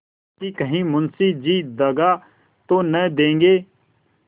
कि कहीं मुंशी जी दगा तो न देंगे